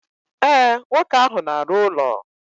E, nwoke ahụ na arụ ụlọ.